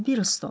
Bir ton.